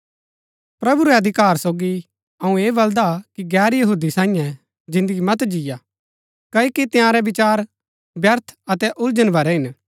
प्रभु रै अधिकार सोगी अऊँ ऐह बलदा कि गैर यहूदी सांईये जिन्दगी मत जिय्आ क्ओकि तंयारै विचार व्यर्थ अतै उलझन भरै हिन